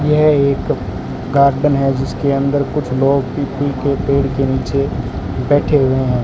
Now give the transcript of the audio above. यह एक गार्डन है जिसके अंदर कुछ लोग पीपल के पेड़ के नीचे बैठे हुए हैं।